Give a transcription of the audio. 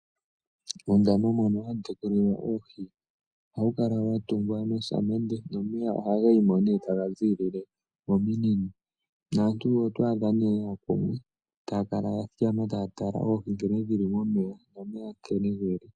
Uundama mono hamu tekulilwa oohi ohawu kala watungwa nosamende nomeya ohaga yi mo nee taga ziilile mominino. Naantu otwaadha nee yeya ko etaya kala yathikama taya tala nkene dhili momeya, nomeya nkene geli.